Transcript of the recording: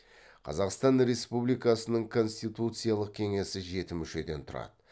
қазақстан республикасының конституциялық кеңесі жеті мүшеден тұрады